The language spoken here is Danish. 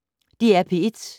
DR P1